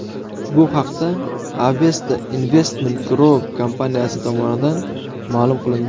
Bu haqda Avesta Investment Group kompaniyasi tomonidan ma’lum qilindi .